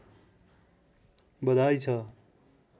बधाई छ